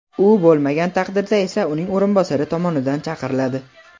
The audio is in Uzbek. u bo‘lmagan taqdirda esa uning o‘rinbosari tomonidan chaqiriladi.